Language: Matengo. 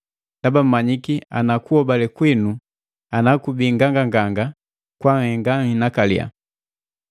ndaba mmanyiki ana kuhobale kwinu ana kubii nganganganga, kwanhenga nhinakaliya.